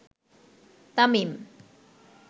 Tamim